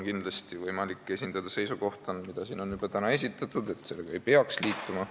Kindlasti on võimalik esindada seisukohta, mida on siin täna juba esitatud, et sellega ei peaks liituma.